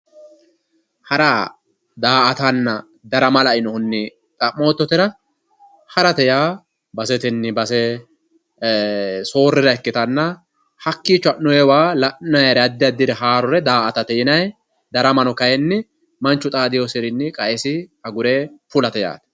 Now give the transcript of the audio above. hara daa"atanna darama lainohunni xa'moottotera harate yaa basetenni base soorrira ikkitanna hakkiicho ha'noyiiwa la'noyiire addi addire daa"atate yinayii daramano kayiinni manchu xaadewoosirinni qa"esi agure fulate yaate.